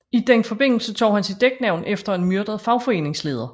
I den forbindelse tog han sit dæknavn efter en myrdet fagforeningsleder